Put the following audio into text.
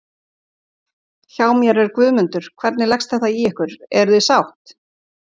Hjá mér er Guðmundur, hvernig leggst þetta í ykkur, eruð þið sátt?